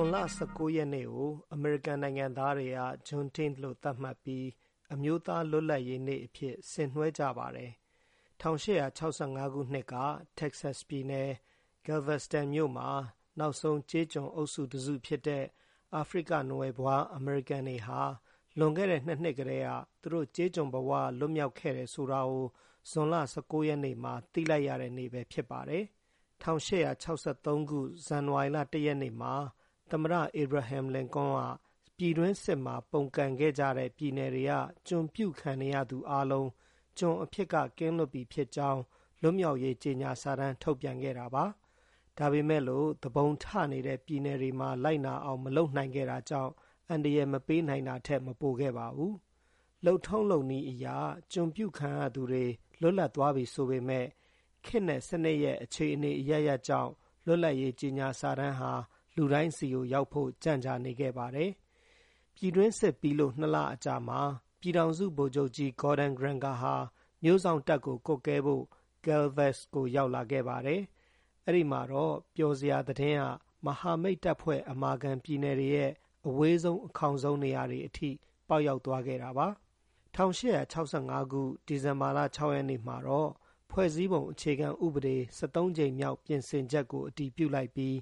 ွန်လ ၁၉ ရက်နေ့ကို အမေရိကန်နိုင်ငံသားတွေဟာ ဂျွန်တိသ်လို့ သတ်မှတ်ပြီး အမျိုးသားလွတ်လပ်ရေးနေ့ အဖြစ် ဆင်နွှဲကျင်းပကြပါတယ်။ ၁၈၆၅ ခုနှသိက တက္ကဆက်ပြည်နယ်၊ ဂဲလ်ဗက်စတန်မြို့မှာ နောက်ဆုံးကျေးကျွန်အုပ်စုတစုဖြစ်တဲ့ အာဖရိကနွယ်ဖွားအမေရိကန်တွေဟာ လွန်ခဲ့တဲ့နှစ်နှစ်ကတည်းက သူတို့ ကျေးကျွန်ဘဝက လွတ်မြောက်ခဲ့တယ်ဆိုတာကို ဂျွန်လ ၁၉ ရက်နေ့မှာ သိလိုက်ရတဲ့နေ့ပဲဖြစ်ပါတယ်။ ၁၈၆၃ ခု၊ ဇန်နဝါရီလ ၁ ရက်နေ့မှာ သမ္မတ အီဘရာဟင်လင်ကွန်းက ပြည်တွင်းစစ်မှာ ပုန်ကန်ခဲ့ကြတဲ့ ပြည်နယ်တွေက ကျွန်ပြုခံနေရသူအားလုံး ကျွန်အဖြစ်က ကင်းလွတ်ပြီဖြစ်ကြောင်း လွတ်မြောက်ရေးကြေညာစာတန်းထုတ်ပြန်ခဲ့တာပါ။ ဒါပေမယ့်လို့ သူပုန်ထနေတဲ့ပြည်နယ်တွေမှာ လိုက်နာအောင် မလုပ်နိုင်ခဲ့တာကြောင့် အန်တရယ်မပေးနိုင်တာထက် မပိုခဲ့ပါဘူး။ လုပ်ထုံးလုပ်နည်းအရ ကျွန်ပြုခံရသူတွေ လွတ်လပ်သွားပြီဆိုမယ့် ခေတ်နဲ့စနစ်ရဲ့ အခြေအနေအရပ်ရပ်ကြောင့် လွတ်လပ်ရေးကြေညာစာတန်းဟာ လူတိုင်းဆီကို ရောက်ဖို့ ကြန့်ကြာနေခဲ့ပါတယ်။ ပြည်တွင်းစစ်ပြီးလို့ ၂ လအကြာမှာ ပြည်ထောင်စုဗိုလ်ချုပ်ကြီး ဂေါ်ဒဲန်ဂရန်ဂါဟာ မြို့စောင့်တပ်ကို ကွပ်ကဲဖို့ ဂယ်လ်ဗက်စ်ကို ရောက်လာပါတယ်။ အဲဒီတော့မှပဲ ပျော်စရာ သတင်းက မဟာမိတ်တပ်ဖွဲ့အမာခံ ပြည်နယ်တွေရဲ့ အဝေးဆုံး အခေါင်ဆုံး နေရာတွေအထိ ပေါက်ရောက်သွားခဲ့ရတာပါ။ ၁၈၆၅ ခုနှစ်၊ ဒီဇင်ဘာလ ၆ ရက် နေ့မှာတော့ ဖွဲ့စည်းပုံအခြေခံဥပဒေ ၁၃ ကြိမ်မြောက် ပြင်ဆင်ချက်ကို အတည်ပြု လိုက်ပြီး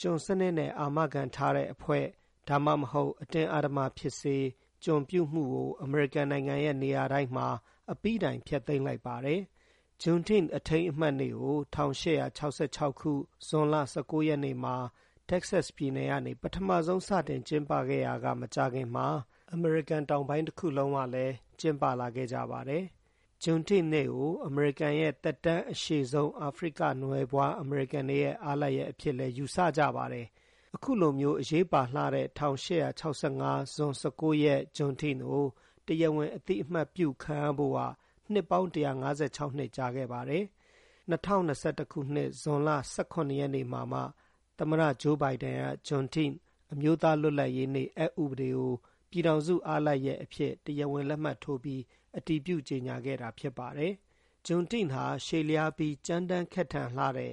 ကျွန်စနစ်နဲ့အာမခံထားတဲ့အဖွဲ့၊ ဒါမှမဟုတ် အတင်းအဓမ္မဖြစ်စေ ကျွန်ပြုမှုကို အမေရိကန်နိုင်ငံရဲ့ နေရာတိုင်းမှာ အပြီးတိုင်ဖျက်သိမ်း လိုက်ပါတယ်။ Juneteenth အထိမ်းအမှတ်နေ့ကို ၁၈၆၆ ခု၊ ဂျွန်လ ၁၉ ရက်နေ့မှာ တက္ကဆက်ပြည်နယ်ကနေ ပထမဆုံးစတင်ကျင်းပခဲ့ရာက မကြာခင်မှာ အမေရိကန်တောင်ပိုင်းတခုလုံးကလည်း ကျင်းပလာခဲ့ကြပါတယ်။ Juneteenth နေ့ကို အမေရိကန်ရဲ့ သက်တမ်းအရှည်ဆုံး အာဖရိကနွယ်ဖွားအမေရိကန်တွေရဲ့ အားလပ်ရက်အဖြစ်လည်း ယူဆကြပါတယ်။ အခုလိုမျိုး အရေးပါလှတဲ့ ၁၈၆၅၊ ဂျွန် ၁၉ ရက် ဂျွန်တိသ်ကို တရားဝင်အသိအမှတ်ပြုခံရဖို့က နှစ်ပေါင်း ၁၅၆ နှစ် ကြာခဲ့တာပါ။ ၂၀၂၁ ခုနှစ်၊ ဂျွန်လ ၁၇ ရက်နေ့မှာမှ သမ္မတဂျိုးဘိုင်ဒန်က ဂျွန်တိ-သ်၊ အမျိုးသား လွတ်လပ်ရေးနေ့ အက်ဥပဒေကို ပြည်ထောင်စုအားလပ်ရက်အဖြစ် တရားဝင် လက်မှတ်ထိုးပြီး အတည်ပြုကြေညာခဲ့တာဖြစ်ပါတယ်။ “ဂျွန်တိသ်ဟာ ရှည်လျားပြီး ကြမ်းတမ်းခက်ထန်လှတဲ့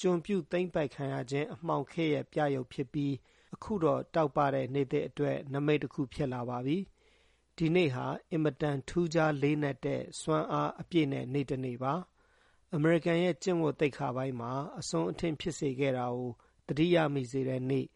ကျွန်ပြုသိမ်းပိုက်ခံရခြင်း အမှောင်ခေတ်ရဲ့ ပြယုဒ်ဖြစ်ပြီး အခုတော့ တောက်ပတဲ့နေ့သစ်အတွက် နမိတ် တခုဖြစ်လာပါပြီ။ ဒီနေ့ဟာ အင်မတန် ထူးခြားလေးနက်တဲ့ စွမ်းအားအပြည့်နဲ့ နေ့တနေ့ပါ။ အမေရိကန်ရဲ့ ကျင့်ဝတ်သိက္ခာပိုင်းမှာ အစွန်းအထင်းဖြစ်စေခဲ့တာကို သတိရမိစေတဲ့နေ့၊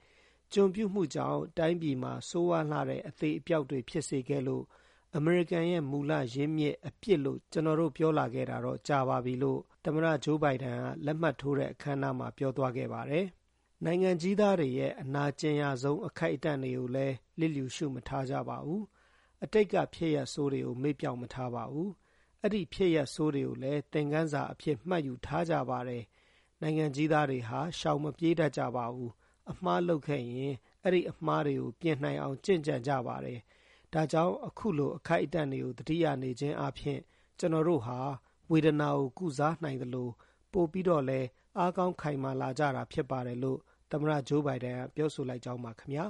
ကျွန်ပြုမှုကြောင့် တိုင်းပြည်မှာ ဆိုးရွားလှတဲ့ အသေအပျောက် တွေဖြစ်စေခဲ့လို့ “အမေရိကန်ရဲ့မူလရင်းမြစ် အပြစ်” လို့ ကျနော် ပြောလာခဲ့တာတော့ ကြာပါပြီ။” လို့ သမ္မတဂျိုးဘိုင်ဒန်က လက်မှတ်ထိုးတဲ့အခမ်းအနားမှာ ပြောသွားခဲ့ပါတယ်။ “နိုင်ငံကြီးသားတွေရဲ့ အနာကျင်ရဆုံးအခိုက်အတန့်တွေကိုလည်း လျစ်လျှူရှု မထားကြပါဘူး။ အတိတ်ကဖြစ်ရပ်ဆိုးတွေကို မေ့ပျောက်မထားပါဘူး။ အဲဒီ ဖြစ်ရပ်ဆိုးတွေကိုလည်း သင်ခန်းစာအဖြစ် မှတ်ယူထားကြပါတယ်။ နိုင်ငံကြီးသားတွေဟာ ရှောင်မပြေး တတ်ကြပါဘူး။ အမှားလုပ်ခဲ့ရင် အဲဒီအမှားတွေပြင်နိုင်အောင် ကျင့်ကြံကြ ပါတယ်။ ဒါကြောင့် အခုလို အခိုက်အတန့်တွေကို သတိရနေခြင်းအားဖြင့် ကျနော်တို့ ဟာ ဝေဒနာကို ကုစားနိုင်သလို ပိုပြီးတော့လည်း အားကောင်းခိုင်မာလာကြတာဖြစ်ပါတယ်” လို့ သမ္မတဂျိုးဘိုင်ဒန်က ပြောဆိုလိုက်ကြောင်းပါခင်ဗျာ